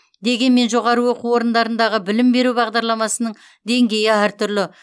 дегенмен жоғарғы оқу орындарындағы білім беру бағдарламасының деңгейі әртүрлі